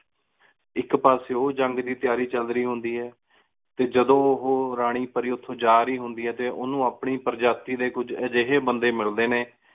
ਏਕ ਪਾਸੇ ਓ ਜੰਗ ਦੀ ਤਯਾਰੀ ਚਲ ਰਹੀ ਹੁੰਦੀ ਆਯ ਟੀ ਜਦੋ ਉਹੁ ਰਾਨੀ ਪਾਰੀ ਓਥੋਂ ਜਾ ਰਹੀ ਹੁੰਦੀ ਆਯ ਉਨੂ ਆਪਣੀ ਪੇਰ੍ਜਾਤੀ ਆਯ ਕੁਛ ਅਜਿਹੇ ਬੰਦੇ ਮਿਲਦੇ ਨੇ